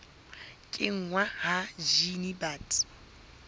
kenngwa ha jine ya bt